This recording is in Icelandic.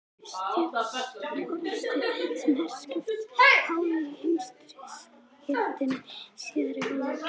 Fyrstu orrustu, sem herskip háðu í heimsstyrjöldinni síðari, var lokið